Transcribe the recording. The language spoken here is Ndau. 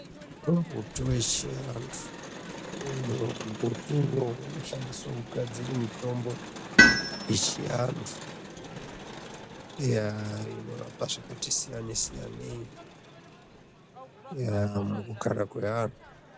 Mitombo yeshe kuantu. Mumbuti uyo unoshandiswa kugadzire mitombo yechiantu inorape zvakati siyane siyanei mukugara kweantu.